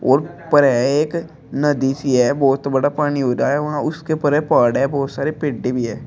और ऊपर है एक नदी सी है। बोहोत बड़ा पानी हो रहा है वहां। उसके ऊपर है पहाड़ है। बोहोत सारे पेडें भी हैं।